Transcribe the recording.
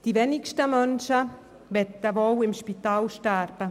Wohl die wenigsten Menschen möchten im Spital sterben.